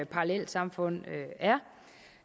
parallelsamfund er